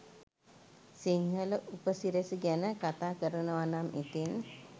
සිංහල උපසිරැසි ගැන කතා කරනවනම් ඉතිං